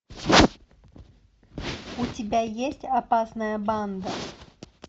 у тебя есть опасная банда